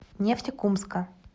нефтекумска